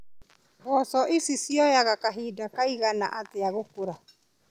Mboco ici cioyaga kahinda kaigana atĩa gũkũra.